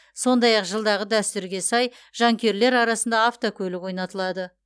сондай ақ жылдағы дәстүрге сай жанкүйерлер арасында автокөлік ойнатылады